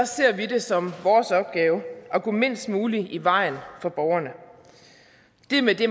ser vi det som vores opgave at gå mindst muligt i vejen for borgerne det er med det